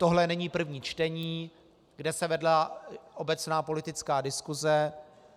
Tohle není první čtení, kde se vedla obecná politická diskuse.